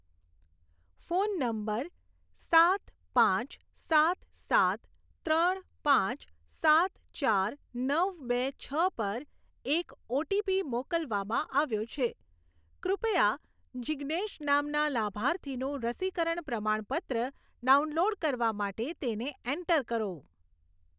Phone number સાત પાંચ સાત સાત ત્રણ પાંચ સાત ચાર નવ બે છ પર એક ઓટીપી મોકલવામાં આવ્યો છે, કૃપયા જીજ્ઞેશ નામના લાભાર્થીનું રસીકરણ પ્રમાણપત્ર ડાઉનલોડ કરવા માટે તેને એન્ટર કરો.